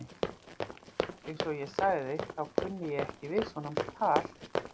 Eins og ég sagði, þá kunni ég ekki við svona tal.